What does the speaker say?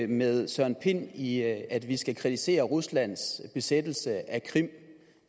med herre søren pind i at vi skal kritisere ruslands besættelse af krim det